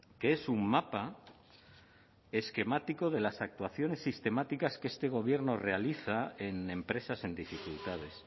que es un mapa esquemático de las actuaciones sistemáticas que este gobierno realiza en empresas en dificultades